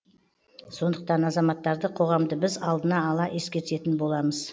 сондықтан азаматтарды қоғамды біз алдына ала ескертетін боламыз